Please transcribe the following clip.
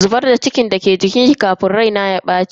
Zubar da cikin da ke jikinki kafin rai na ya baci.